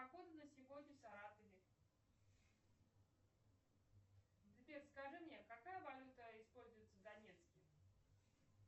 погода на сегодня в саратове сбер скажи мне какая валюта используется в донецке